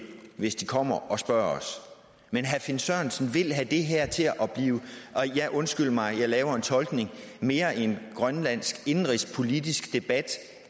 hvis de kommer og spørger os men herre finn sørensen vil have det her til at blive ja undskyld mig jeg laver en tolkning mere en grønlandsk indenrigspolitisk debat